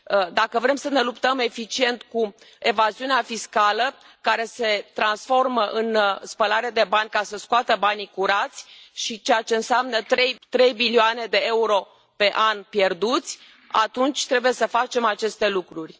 Dacă vrem să ne luptăm eficient cu evaziunea fiscală, care se transformă în spălare de bani, ca să scoată banii curați, ceea ce înseamnă trei bilioane de euro pe an pierduți, atunci trebuie să facem aceste lucruri.